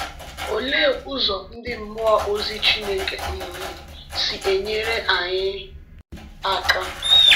Olee ụzọ ndị mmụọ ozi Chineke um si enyere anyị aka?